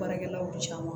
Baarakɛlaw caman